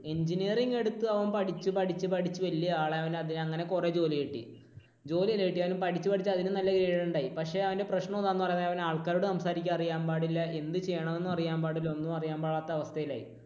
engineering എടുത്തു. അവൻ പഠിച്ചു പഠിച്ചു വലിയ ആളായി, അവനങ്ങനെ കുറെ ജോലി കിട്ടി. ജോലിയല്ല കിട്ടിയത്. അവൻ പഠിച്ചു പഠിച്ച് അതിനും നല്ല grade ഉണ്ടായി. പക്ഷെ അവന്റെ പ്രശ്നം എന്താണെന്ന് പറഞ്ഞാൽ അവന് ആൾക്കാരോട് സംസാരിക്കാൻ അറിയാൻ പാടില്ല, എന്ത് ചെയ്യണമെന്നും അറിയാൻ പാടില്ല, ഒന്നും അറിയാൻ പാടില്ലാത്ത അവസ്ഥയിലായി.